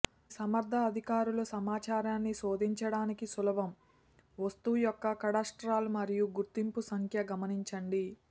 అది సమర్థ అధికారులు సమాచారాన్ని శోధించడానికి సులభం వస్తువు యొక్క కాడాస్ట్రాల్ మరియు గుర్తింపు సంఖ్య గమనించండి